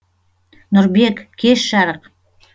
нұрбек кеш жарық